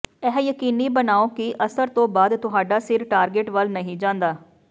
ਇਹ ਯਕੀਨੀ ਬਣਾਓ ਕਿ ਅਸਰ ਤੋਂ ਬਾਅਦ ਤੁਹਾਡਾ ਸਿਰ ਟਾਰਗੇਟ ਵੱਲ ਨਹੀਂ ਜਾਂਦਾ